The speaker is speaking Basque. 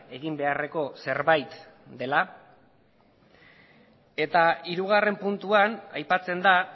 egin beharreko zerbait dela eta hirugarren puntuan aipatzen da